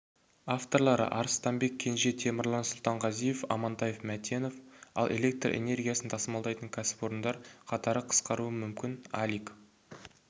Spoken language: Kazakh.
авторлары арыстанбек кенже темірлан сұлтанғазиев амантай мәтенов ал электр энергиясын тасымалдайтын кәсіпорындар қатары қысқаруы мүмкін алик